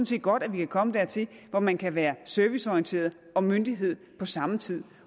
set godt at vi kan komme dertil hvor man kan være serviceorienteret og myndighed på samme tid